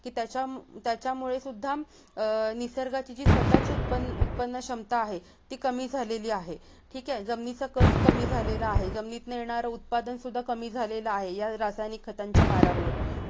की त्याचा-त्याच्यामुळे सुध्दा अह निसर्गाची जी स्वतःची उत्पन्न-उत्पन्नक्षमता आहे ती कमी झालेली आहे ठीक आहे जमिनीचा कच कमी झालेला आहे जमिनीतून येणारे उत्पादन सुध्दा कमी झालेला आहे या रासायनिक खतांच्या मारामुळे